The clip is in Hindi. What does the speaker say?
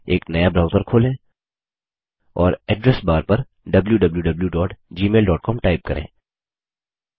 एक नया ब्राउज़र खोलें और एड्रेस बार पर wwwgmailcom टाइप करें